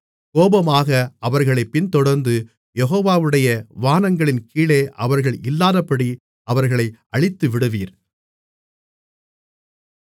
கோபமாக அவர்களைப் பின்தொடர்ந்து யெகோவாவுடைய வானங்களின் கீழே அவர்கள் இல்லாதபடி அவர்களை அழித்துவிடுவீர்